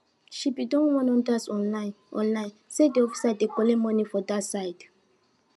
she bin don warn others online online say de officer dey collect monie for dat side